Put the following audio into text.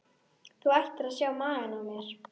Þú ættir að sjá magann á mér.